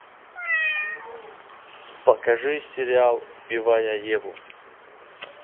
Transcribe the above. покажи сериал убивая еву